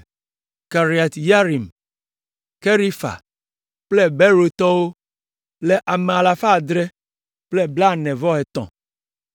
Kiriat Yearim, Kefira kple Beerottɔwo le ame alafa adre kple blaene-vɔ-etɔ̃ (743).